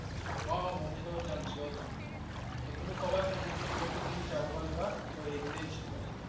অ' অ' movie চাব যাম। sure যাম। তহ তুমি ক'বা কোনটো দিন যাব পাৰিবা। তহ সেইদিনাই যাম